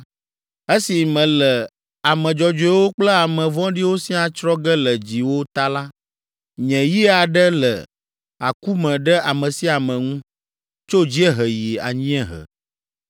Esi mele ame dzɔdzɔewo kple ame vɔ̃ɖiwo siaa tsrɔ̃ ge le dziwò ta la, nye yi aɖe le aku me ɖe ame sia ame ŋu, tso dziehe yi anyiehe.